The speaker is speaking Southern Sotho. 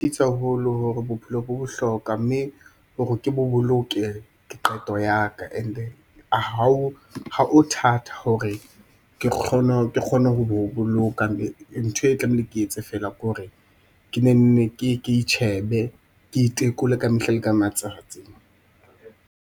Haholo hore bophelo bo bohlokwa mme hore ke bo boloke ke qeto yaka and-e ha o thata hore ke kgone ho bo boloka ntho e tlamehile ke e etse feela ke hore ke ne nne ke itjhebe, ke itekole kamehla le ka matsatsi.